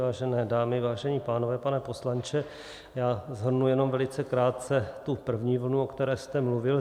Vážené dámy, vážení pánové, pane poslanče, já shrnu jenom velice krátce tu první vlnu, o které jste mluvil.